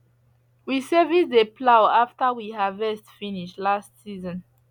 we service the plough after we harvest finish last season